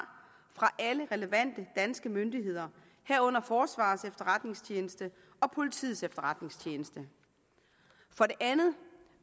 fra alle relevante danske myndigheder herunder forsvarets efterretningstjeneste og politiets efterretningstjeneste for det andet